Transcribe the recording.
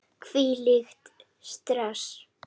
Hvílíkt stress!